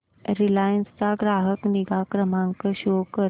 Reliance चा ग्राहक निगा क्रमांक शो कर